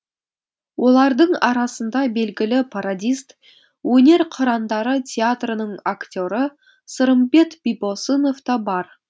олардың арасында белгілі пародист өнер қырандары театрының актері сырымбет бибосынов та бар